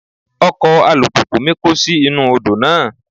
Ọkọ̀ alùpùpù mi kó sí inú Odò náà.